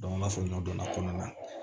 an b'a fɔ ɲɔ kɔnɔna na